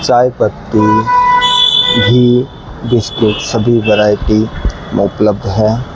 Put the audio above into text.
चायपाती घी बिस्किट सभी वैरायटी मतलब है।